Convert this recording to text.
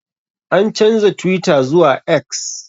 An canja twitter zuwa X.